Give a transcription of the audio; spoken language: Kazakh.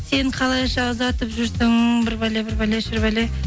сен қалайша ұзатып жүрсің бір бәлі бір бәле шір бәле